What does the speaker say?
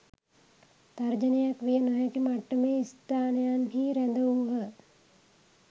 තර්ජනයක් විය නොහැකි මට්ටමේ ස්ථානයන්හි රැඳවූහ